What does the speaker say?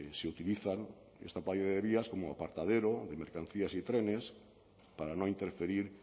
se utilizan esta playa de vías como apartadero de mercancías y trenes para no interferir